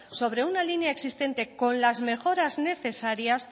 sobre una línea existente con las mejoras necesarias